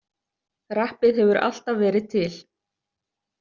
Rappið hefur alltaf verið til.